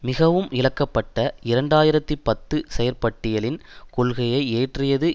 மிகவும் இகழப்பட்ட இரண்டு ஆயிரத்தி பத்து செயற்பட்டியலின் கொள்கையை இயற்றியது